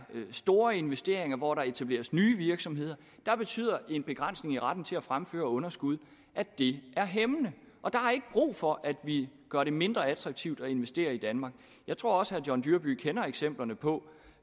store investeringer og hvor der etableres nye virksomheder der betyder en begrænsning i retten til at fremføre underskud at det er hæmmende og der er ikke brug for at vi gør det mindre attraktivt at investere i danmark jeg tror også herre john dyrby paulsen kender eksemplerne på